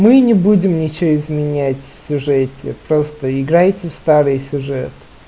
мы не будем ничего изменять сюжете просто играете в старые сюжет